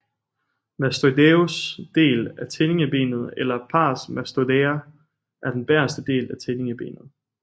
Mastoideus del af tindingebenet eller Pars Mastoidea er den bagerste del af tindingebenet